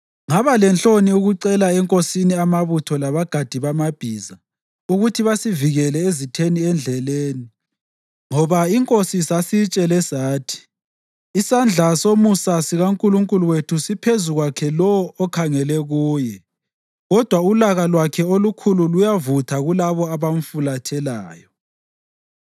Ngaba lenhloni ukucela enkosini amabutho labagadi bamabhiza ukuthi basivikele ezitheni endleleni ngoba inkosi sasiyitshele sathi, “Isandla somusa sikaNkulunkulu wethu siphezu kwakhe lowo okhangele kuye, kodwa ulaka lwakhe olukhulu luyavutha kulabo abamfulathelayo.”